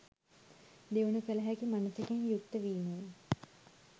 දියුණු කළ හැකි මනසකින් යුක්ත වීමය.